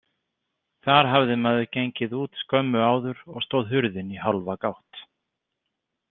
Þar hafði maður gengið út skömmu áður og stóð hurðin í hálfa gátt.